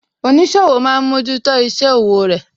Oníṣòwò máa ń mójútó isẹ òwò rẹ